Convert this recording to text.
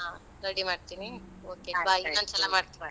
ಹಾ ready ಮಾಡ್ತೀನಿ. ಇನ್ನೊಂದು ಸಲ ಮಾಡ್ತೀನಿ.